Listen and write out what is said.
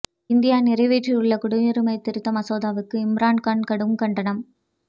India நிறைவேற்றியுள்ள குடியுரிமைத் திருத்த மசோதாவுக்கு இம்ரான் கான் கடும் கண்டனம்